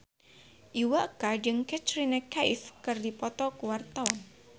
Iwa K jeung Katrina Kaif keur dipoto ku wartawan